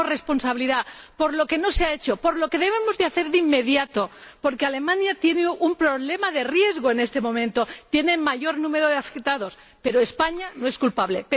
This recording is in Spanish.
Pedimos responsabilidad por lo que no se ha hecho, por lo que debemos hacer de inmediato, porque Alemania tiene un problema de riesgo en este momento —tiene el mayor número de afectados—, pero España no es culpable.